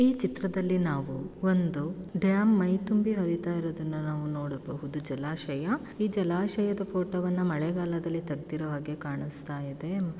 ಈ ಚಿತ್ರದಲ್ಲಿ ನಾವು ಒಂದು ಡ್ಯಾಮ ಮೈ ತುಂಭಿ ಹರಿತಿ ಇರುವುದನ್ನ ನಾವ ನೊಡಬಹುದು ಜಲಾಶಯ ಈ ಜಲಾಶಯದ ಫೊಟೊ ವನ್ನ ಮಳೆಗಾಲದಲ್ಲಿ ತೆಗ್ದಿರೊ ಹಾಗೆ ಕಾಣಸ್ತಾ ಇದೆ .